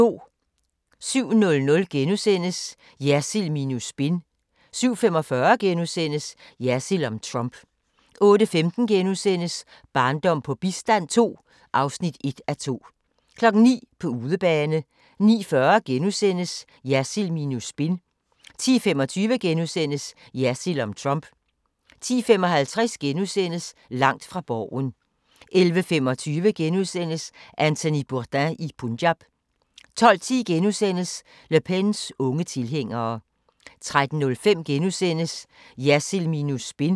07:00: Jersild minus spin * 07:45: Jersild om Trump * 08:15: Barndom på bistand II (1:2)* 09:00: På udebane 09:40: Jersild minus spin * 10:25: Jersild om Trump * 10:55: Langt fra Borgen * 11:25: Anthony Bourdain i Punjab * 12:10: Le Pens unge tilhængere * 13:05: Jersild minus spin *